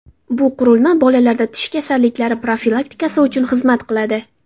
Bu qurilma bolalarda tish kasalliklari profilaktikasi uchun xizmat qiladi.